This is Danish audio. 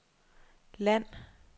land